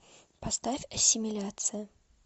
поставь ассимиляция